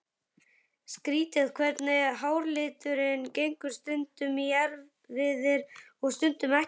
Skrýtið hvernig háralitur gengur stundum í erfðir og stundum ekki.